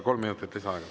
Kolm minutit lisaaega.